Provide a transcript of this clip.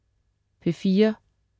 P4: